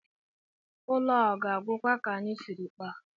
Ụlọ a ọ ga-agwụkwa ka anyị siri kpaa?